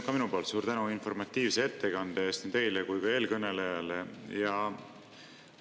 Ka minu poolt suur tänu informatiivse ettekande eest nii teile kui ka eelkõnelejale!